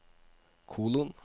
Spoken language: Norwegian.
kolon